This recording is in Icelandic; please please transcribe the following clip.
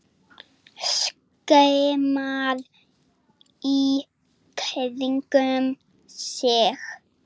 Skimar í kringum sig.